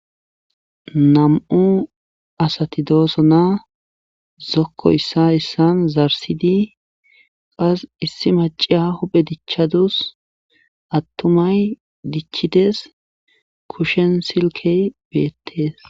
Nam7u asati doosona zokko issa issaa zarssidi qas issi hphe dichadus attunay dichides keshen silkkey beetees.